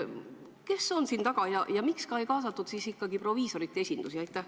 Kes on selle taga ja miks ikkagi ei kaasatud proviisorite esindusi?